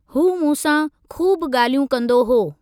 हू मूंसां खूब गा॒ल्हियूं कंदो हो।